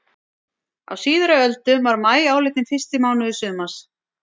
Á síðari öldum var maí álitinn fyrsti mánuður sumars.